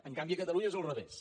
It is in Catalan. en canvi a catalunya és al revés